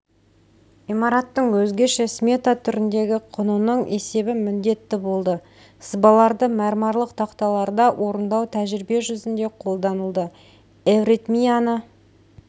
имараттың өзгеше смета түріндегі құнының есебі міндетті болды сызбаларды мәрмәрлық тақталарда орындау тәжірибе жүзінде қолданылды эвритмияны